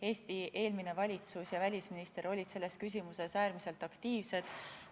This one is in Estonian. Eesti eelmine valitsus ja välisminister olid selles küsimuses äärmiselt aktiivsed.